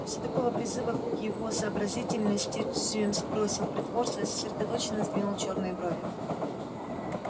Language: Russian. после такого призыва к его сообразительности джимс бросил притворство и сосредоточенно сдвинул чёрные брови